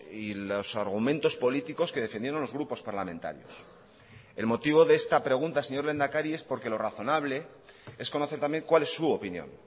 y los argumentos políticos que defendieron los grupos parlamentarios el motivo de esta pregunta señor lehendakari es porque lo razonable es conocer también cuál es su opinión